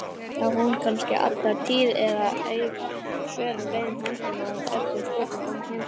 Hún var ekki eins ánægð að sjá mig eins og ég hafði verið að vona.